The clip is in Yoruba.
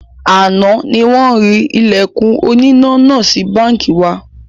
Àná ni wọn rí Ìlẹ̀kùn oníná náà sì báńkì wa